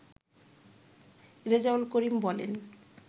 রেজাউল করিম বলেন